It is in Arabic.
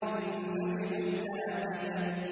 النَّجْمُ الثَّاقِبُ